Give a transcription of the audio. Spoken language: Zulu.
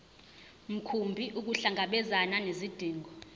mkhumbi ukuhlangabezana nezidingo